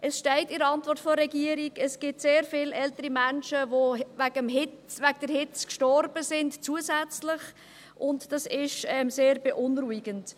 In der Antwort der Regierung steht, es gebe sehr viele ältere Menschen, die wegen der Hitze zusätzlich gestorben sind, und dies ist sehr beunruhigend.